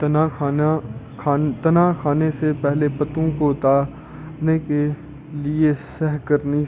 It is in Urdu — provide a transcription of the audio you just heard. تنا کھانے سے پہلے پتوں کو اتارنے کیلئے سَہ قَرنی